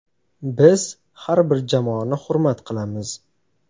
Biz har bir jamoani hurmat qilamiz.